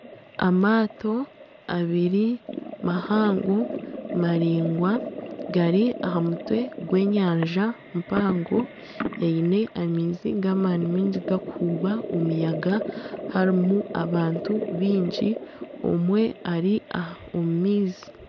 Amaato abiri mahango maringwa gari aha mutwe gw'enyanja mpango eine amaizi g'amani miingi gakuhubwa omuyaga harimu abantu biingi omwe ari omu maizi.